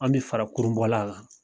An bi fara kurunbɔla kan